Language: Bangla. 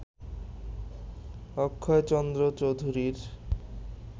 অক্ষয়চন্দ্র চৌধুরীর